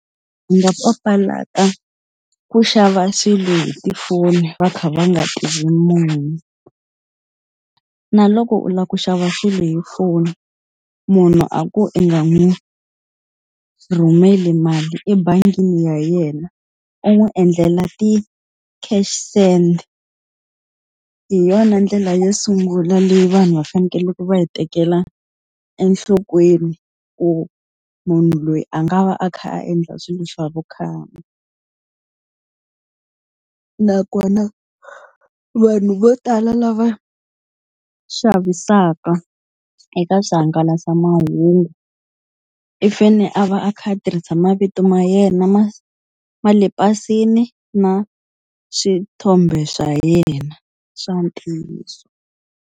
Ndzi nga papalata ku xava swilo hi tifoni va kha va nga tivi munhu. Na loko u lava ku xava swilo hi foni, munhu a ku i nga n'wi rhumeli mali ebangini ya yena u n'wi endlela ti-cash send. Hi yona ndlela yo sungula leyi vanhu va fanekeleke va yi tekela enhlokweni, ku munhu loyi a nga va a kha a endla swilo swa vukhamba. Nakona vanhu vo tala lava xavisaka eka swihangalasamahungu, i fanele a va a kha a tirhisa mavito ma yena ma ma le pasini na swithombe swa yena swa ntiyiso.